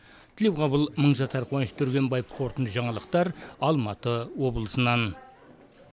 тілеуқабыл мыңжасар қуаныш түргенбаев қорытынды жаңалықтар алматы облысынан